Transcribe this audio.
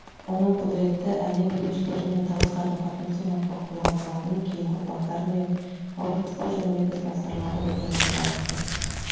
оның құдіретті әлем билеушілерімен тығыз қарым қатынас орнатпақ болған талабын кейінгі ұрпақтары мен бауырластық жөніндегі ізбасарлары одан әрі дамытты